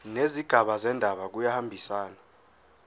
nezigaba zendaba kuyahambisana